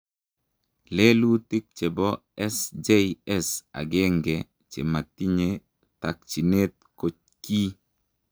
Lelutik chepo SJS agenge chematinye takchinet ko kii